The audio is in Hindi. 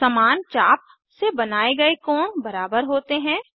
समान चाप से बनाये गए कोण बराबर होते हैं